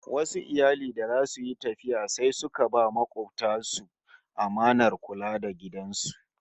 Wasu iyali da zasu yi tafiya sai suka ba makobtan su amanar kula da gidan su